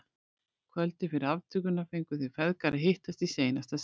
Kvöldið fyrir aftökuna fengu þeir feðgar að hittast í seinasta sinn.